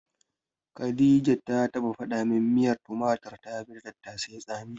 Khadija ta taɓa faɗa min miyar tumatir tafi ta tattasai tsami.